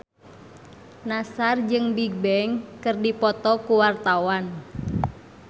Nassar jeung Bigbang keur dipoto ku wartawan